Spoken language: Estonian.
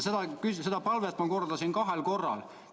Ma veel kordasin seda palvet.